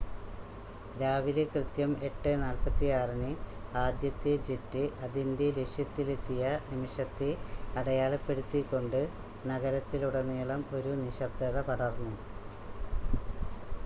രാവിലെ കൃത്യം 8:46-ന് ആദ്യത്തെ ജെറ്റ് അതിന്റെ ലക്ഷ്യത്തിലെത്തിയ നിമിഷത്തെ അടയാളപ്പെടുത്തിക്കൊണ്ട് നഗരത്തിലുടനീളം ഒരു നിശബ്‌ദത പടർന്നു